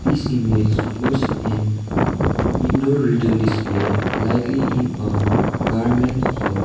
this image shows an indoor retail display likely in a garment shop.